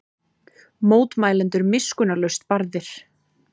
Mótmælendur miskunnarlaust barðir